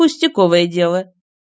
пустяковое дело